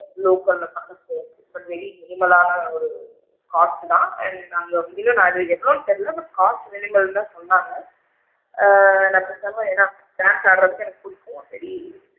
Local ல இருக்கும் but very minimal லான ஒரு cost தான் and அங்க இரு இன்னும் எவ்வளோன்னு தெரில but cost minimal தான் சொன்னாங்க ஆ என்னா டான்ஸ் ஆடுறதுக்கு பிடிக்கும் மத்த படி,